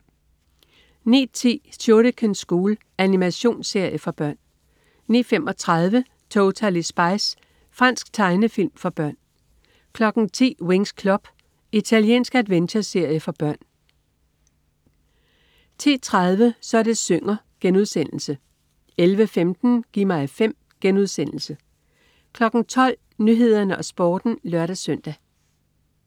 09.10 Shuriken School. Animationsserie for børn 09.35 Totally Spies. Fransk tegnefilm for børn 10.00 Winx Club. Italiensk adventureserie for børn 10.30 Så det synger* 11.15 Gi' mig 5* 12.00 Nyhederne og Sporten (lør-søn)